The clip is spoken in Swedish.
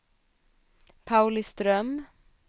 Pauliström